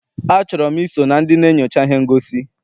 A chọrọ m I so na ndị na-enyocha ihe ngosi.